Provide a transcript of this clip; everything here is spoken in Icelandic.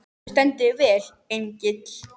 Þú stendur þig vel, Engill!